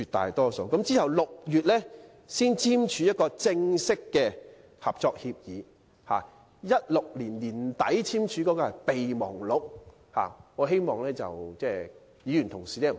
其後，雙方在6月才簽署正式的合作協議，而在2016年年底所簽訂的是備忘錄，我希望議員同事不要弄錯。